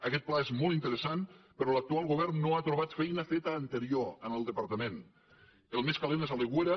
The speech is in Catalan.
aguest pla és molt interessant però l’actual govern no ha trobat feina feta anterior en el departament el més calent és a l’aigüera